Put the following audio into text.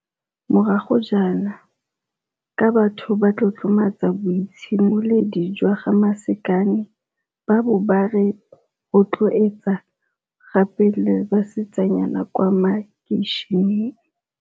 morago jaana, ka batho ba tlotlomatsa boitshimoledi jwa ga Masakane ba bo ba re o rotloetsa gape le basetsanyana ba kwa makeisheneng.